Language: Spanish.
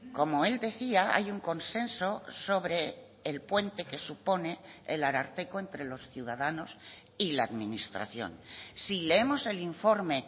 como él decía hay un consenso sobre el puente que supone el ararteko entre los ciudadanos y la administración si leemos el informe